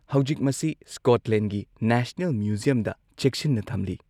ꯍꯧꯖꯤꯛ ꯃꯁꯤ ꯁ꯭ꯀꯣꯠꯂꯦꯟꯒꯤ ꯅꯦꯁꯅꯦꯜ ꯃ꯭ꯌꯨꯖꯤꯌꯝꯗ ꯆꯦꯛꯁꯤꯟꯅ ꯊꯝꯂꯤ꯫